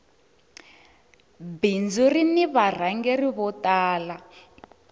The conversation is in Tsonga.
bindzu rini varhangeri vo tala